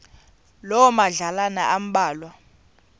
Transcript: loo madlalana ambalwa